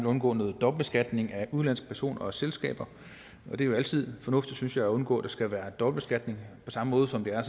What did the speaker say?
undgå noget dobbeltbeskatning af udenlandske personer og selskaber det er jo altid fornuftigt synes jeg at undgå at der skal være dobbeltbeskatning på samme måde som det er